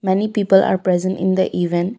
many people are present in the event.